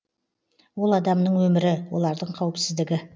ол адамның өмірі олардың қауіпсіздігі